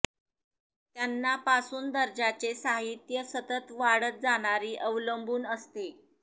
त्यांना पासून दर्जाचे साहित्य सतत वाढत जाणारी अवलंबून असते